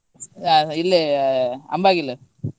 ಹ ಇಲ್ಲೇ Ambagil .